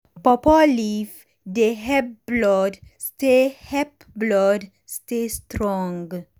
pawpaw leaf dey help blood stay help blood stay strong.